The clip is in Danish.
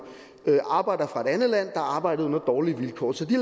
arbejdere fra et andet land der arbejdede under dårlige vilkår så de